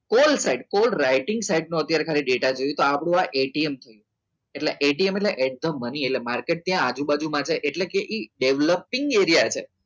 Call side call writing side નો અત્યારે મારા ખાલી ડેટા જોઈએ છે. આ છે એટલા એટીએમ એટલે મને માર્કેટ છે ત્યાં આજુબાજુ છે એ developing એરિયા છે